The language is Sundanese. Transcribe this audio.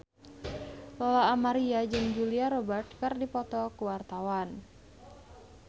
Lola Amaria jeung Julia Robert keur dipoto ku wartawan